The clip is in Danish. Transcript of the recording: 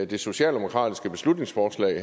det socialdemokratiske beslutningsforslag